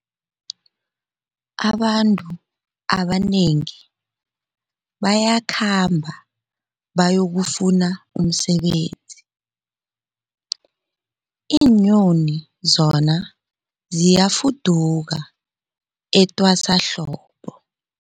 Abantu abanengi bayakhamba bayokufuna umsebenzi, iinyoni zona ziyafuduka etwasahlobo.